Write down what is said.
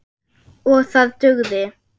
OG ÞAÐ DUGÐI.